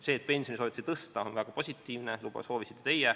See, et pensioni soovitakse tõsta, on väga positiivne, seda soovisite ka teie.